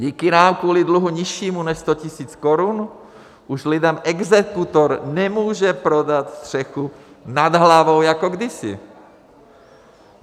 Díky nám kvůli dluhu nižšímu než 100 tisíc korun už lidem exekutor nemůže prodat střechu nad hlavou jako kdysi.